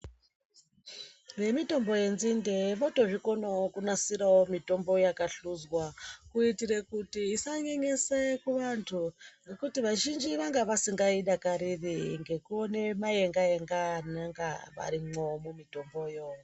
Vemitombo yenzinde votozvikonawo kunasira mitombo yakahluzwa kuitire kuti isa isanyenyese kuvantu ngekuti vazhinji vanga vasingaidakariri ngekuona mayenga-yenga anenge arimo mumitombomo.